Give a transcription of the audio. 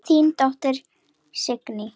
Þín dóttir, Signý.